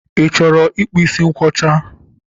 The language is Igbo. Ị chọrọ ịkpụ ísí nkwọcha?